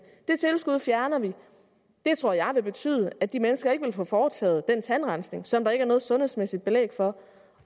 det tilskud fjerner vi det tror jeg vil betyde at de mennesker ikke vil få foretaget den tandrensning som der ikke er noget sundhedsmæssigt belæg for